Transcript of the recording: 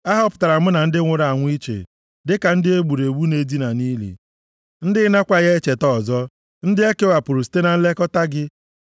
A họpụtara mụ na ndị nwụrụ anwụ iche, dịka ndị e gburu egbu na-edina nʼili, ndị ị nakwaghị echeta ọzọ, ndị e kewapụrụ site na nlekọta gị.